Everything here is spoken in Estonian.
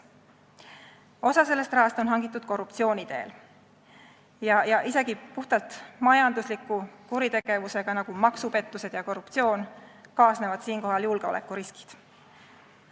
Osa sellest rahast on hangitud korruptsiooni teel ja isegi puhtalt majandusliku kuritegevusega, nagu maksupettused ja korruptsioon, kaasnevad siinkohal julgeolekuriskid.